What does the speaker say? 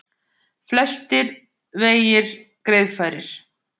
Flestir vegir greiðfærir